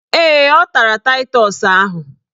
Ee, ọ tara taịtọs ahụ.